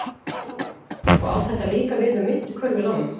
Lóa: Og á þetta líka við um myntkörfulánin?